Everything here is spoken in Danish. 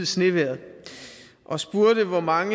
snevejret og spurgte hvor mange